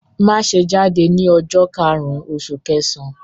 Má ṣe jáde ní ọjọ́ karùn-ún oṣù kẹsàn-án!